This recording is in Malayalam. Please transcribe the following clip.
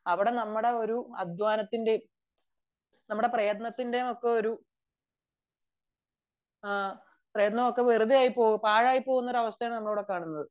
അവിടെ നമ്മുടെ അധ്വാനവും പ്രയത്നവും പാഴായി പോവുന്ന ഒരു അവസ്ഥയാണ് നമ്മൾ അവിടെ കാണുന്നത്